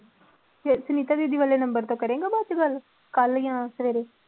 ਫਿਰ ਸੁਨੀਤਾ ਦੀਦੀ ਵਾਲੇ number ਤੋਂ ਕਰੇਂਗਾ ਬਾਅਦ ਚੋਂ ਗੱਲ ਕੱਲ੍ਹ ਜਾਂ ਸਵੇਰੇ?